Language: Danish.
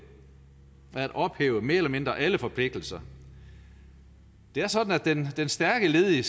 at ophæve mere eller mindre alle forpligtelser det er sådan at den stærke ledige